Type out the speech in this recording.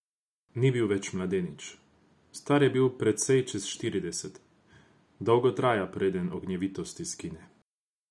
Ni bil več mladenič, star je bil precej čez štirideset, dolgo traja, preden ognjevitost izgine.